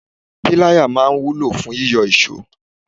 Pilaya máa ń wúlò fún yíyọ iso.